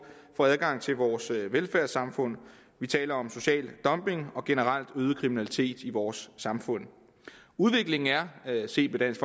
fra adgang til vores velfærdssamfund vi taler om social dumping og generelt øget kriminalitet i vores samfund udviklingen er set med dansk